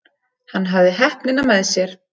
Hann hafði heppnina með sér.